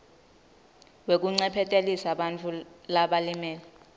wekuncephetelisa bantfu labalimele